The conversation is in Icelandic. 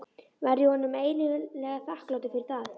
Verð ég honum eilíflega þakklátur fyrir það.